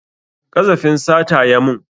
Ƙazafin sata ya mun